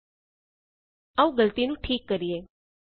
000634 000633 ਆਉ ਗਲਤੀ ਨੂੰ ਠੀਕ ਕਰੀਏ